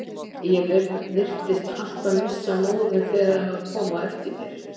Ég virtist alltaf missa móðinn þegar hann kom á eftir mér.